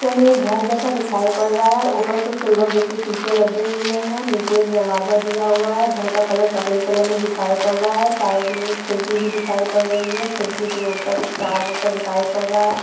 Picture में एक घर जैसा दिखाई पड़ रहा है ऊपर कुछ सिल्वर जैसे शीशे लगे हुए हैं नीचे एक दरवाजा दिया हुआ है घर का कलर सफ़ेद कलर में दिखाई पड़ रहा है साइड में एक खिड़की भी दिखाई पड़ रही है खिड़की के ऊपर एक तार जैसा दिखाई पड़ रहा है।